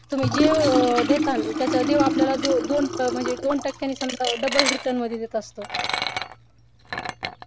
तुम्ही जे देताल त्याच देव आपल्याला दोन टक्क्याने समजा double return म्हणजे देत असतो